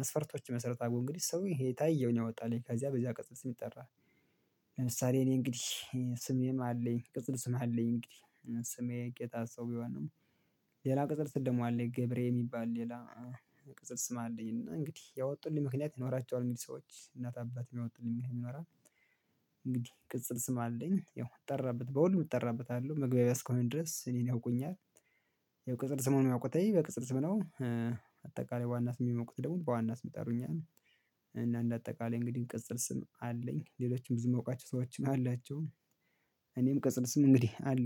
መስፈርቶች ይመሰረታሉ እንግዲህ ሰው የታየውን ያወጣል ከዚያ በዚያ ቅጽል ስም ይጠራል። ለምሳሌ እኔ እንግዲህ ስሜም አለኝ ቅጽል ስም አለኝ እንግዲህ ስሜ ጌታሰው ቢሆንም። ቅጽል ስም ደሞ አለኝ ገብሬ የሚባል ሌላ ቅጽል ስም አለኝ እና እንግዲህ ያወጡልኝ ምክንያት ይኖራቸዋል እንግዲህ ሰዎች እናት አባት ያወጡልኝ። እንግዲህ ቅጽል ስም አለኝ ያው እጠራበት በሁሉም እጠራበታለው መግባቢያ እስከሆነ ድረስ እኔን ያውቁኛል። የቅጽል ስሙን የሚያውቁትኝ በቅጽል ስም ነው። አጠቃላይ በዋና ስም የሚያቁት ደግሞ በዋና ስም ይጠሩኛል። እና እንደ አጠቃላይ እንግዲህ ቅጽል ስም አለኝ ሌሎችም ብዙ ማውቃቸው ሰዎች አላቸው። እኔም ቅጽል ስም እንግዲህ አለኝ